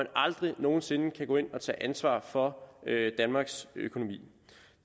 aldrig nogen sinde kan gå ind og tage ansvar for danmarks økonomi